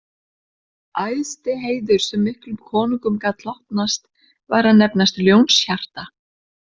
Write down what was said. Æðsti heiður sem miklum konungum gat hlotnast var að nefnast ljónshjarta